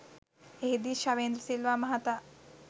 එහිදී ශවේන්ද්‍ර සිල්වා මහතා